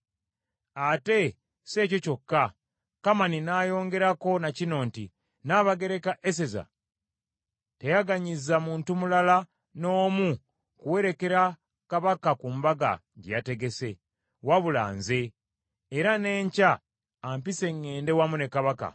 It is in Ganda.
“Ate si ekyo kyokka,” Kamani n’ayongerako na kino nti, “Nnabagereka Eseza teyaganyizza muntu mulala n’omu kuwerekera Kabaka ku mbaga gye yategese, wabula nze; era n’enkya ampise ŋŋende wamu ne Kabaka.